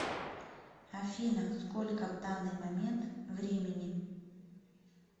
афина сколько в данный момент времени